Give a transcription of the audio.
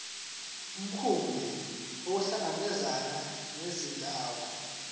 mkhumbi ukuhlangabezana nezidingo